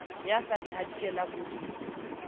ya sa di hadikelang ho